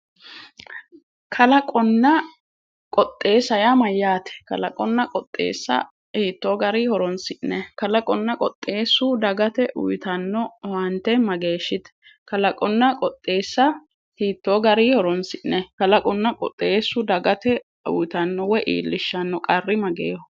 kalaqonna qoxxeessa yaa mayyaate kalaqonna qoxxeessa hiitto gari horoonsi'nayi kalaqonna qoxxeeessu dagate uuyitanno owaante mageeshshite kalaqonna qoxxeessa hiitto gari horoonsi'nayi kaaqonna qoxxeessu dagate uyitanno woy iillishshanno qarri mageeho?